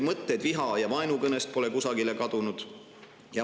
Mõtted viha‑ ja vaenukõnest pole kusagile kadunud.